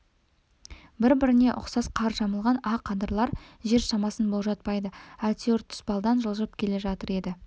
біріне бірі ұқсас қар жамылған ақ адырлар жер шамасын болжатпайды әйтеуір тұспалдан жылжып келе жатыр еді